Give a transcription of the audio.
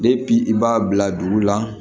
i b'a bila dugu la